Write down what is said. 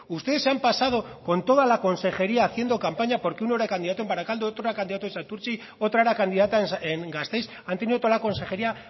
ustedes se han pasado con toda la consejería haciendo campaña porque uno era candidato en baracaldo otro era candidato en santurtzi otra era candidata en gasteiz han tenido toda la consejería